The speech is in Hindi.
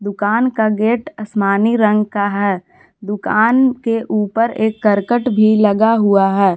दुकान का गेट आसमानी रंग का है दुकान के ऊपर एक करकट भी लगा हुआ है।